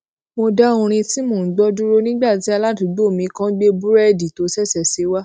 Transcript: mo dá orin tí mò ń gbó dúró nígbà tí aládùúgbò mi kan gbé búrédì tó ṣèṣè sè wá